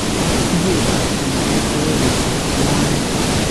Iyeetab tumoteet koyae kochoot buwaniik